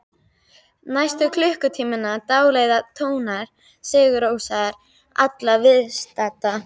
Næstu klukkutímana dáleiða tónar Sigurrósar alla viðstadda.